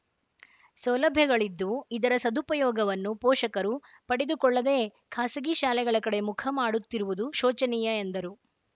ಸೌಲಭ್ಯಗಳಿದ್ದು ಇದರ ಸದುಪಯೋಗವನ್ನು ಪೋಷಕರು ಪಡೆದುಕೊಳ್ಳದೇ ಖಾಸಗಿ ಶಾಲೆಗಳ ಕಡೆ ಮುಖ ಮಾಡುತ್ತಿರುವುದು ಶೋಚನೀಯ ಎಂದರು